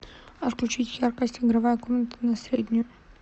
отключить яркость игровая комната на среднюю